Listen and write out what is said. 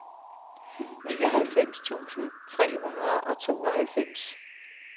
nioghalvfems tusind tre hundrede og tooghalvfems